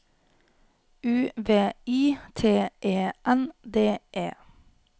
U V I T E N D E